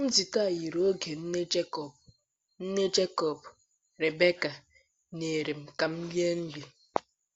Nzute a yiri oge nne Jekọb, nne Jekọb, Rebeka, nyere kamel mmiri.